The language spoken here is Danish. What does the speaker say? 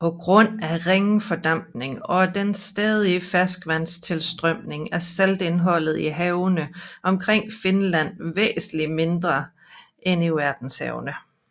På grund af ringe fordampning og den stadige ferskvandstilstrømning er saltindholdet i havene omkring Finland væsentligt mindre end i verdenshavene